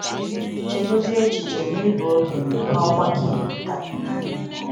Chegodi echiche na ị bụ okenye n’ọgbakọ Igbo taa.